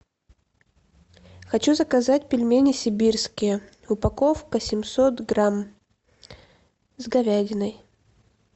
хочу заказать пельмени сибирские упаковка семьсот грамм с говядиной